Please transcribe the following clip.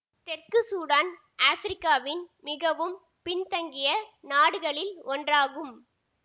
தெற்கு சூடான் ஆப்பிரிக்காவின் மிகவும் பின் தங்கிய நாடுகளில் ஒன்றாகும்